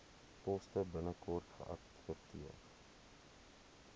poste binnekort geadverteer